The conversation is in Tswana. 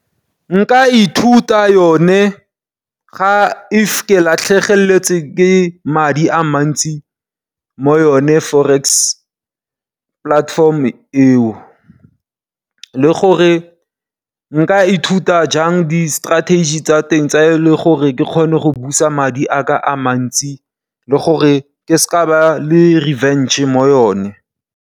Nka ithuta yone ga ke latlhegetswe ke madi a mantsi mo yone Forex platform eo. Le gore nka ithuta jang di strategy tsa teng, gore ke kgone go busa madi a ka a mantsi le gore ke se ka ba le revenge mo yone.